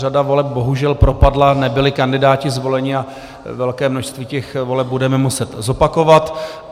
Řada voleb bohužel propadla, nebyli kandidáti zvoleni a velké množství těch voleb budeme muset zopakovat.